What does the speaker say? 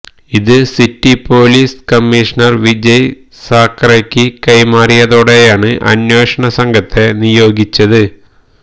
ഇത് city police commissioner Vijay സാഖറെയ്ക്ക് കൈമാറിയതോടെയാണ് അന്വേഷണസംഘത്തെ നിയോഗിച്ചത്